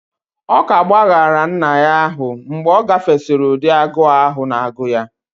Ọ ka gbaghaara nna ahụ mgbe ọ gafesịrị ụdị agụụ ahụ na agụụ ya;